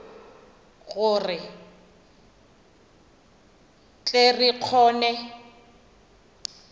gore re tle re kgone